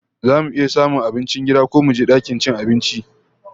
Zamu samu abincin gida ko muje dakin cin abincin?